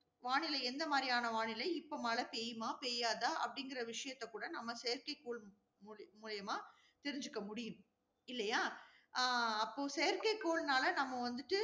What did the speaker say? வானிலை எந்தமாதிரியான வானிலை இப்ப மழை பெய்யுமா பெய்யாதா அப்படிங்கற விஷயத்தை கூட நம்ம செயற்கைக்கோள் மூலி~ மூலியமா தெரிஞ்சிக்க முடியும். இல்லையா? ஆஹ் அப்போ செயற்கைக்கோள்னால